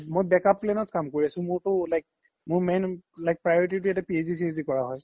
মই back up plan ত কাম কৰি আছো মোৰ তো like মোৰ main priority তো PhD চিহ্দি কৰা হয়